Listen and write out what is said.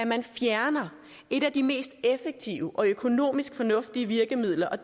man fjerner et af de mest effektive og økonomisk fornuftige virkemidler og